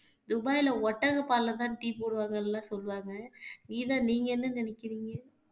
துபாய்ல ஒட்டக பால்லதான் tea போடுவாங்கன்னு எல்லாம் சொல்லுவாங்க கீதா நீங்க என்ன நினைக்கிறீங்க